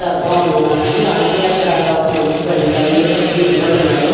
అర్థం అవ్వలేదు నాకు అలాగే అక్కడ ఒక మనిషి బండి పట్టుకొని నిలబడి ఉన్నాడు.